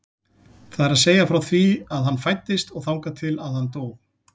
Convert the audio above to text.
Það er að segja frá því að hann fæddist og þangað til að hann dó.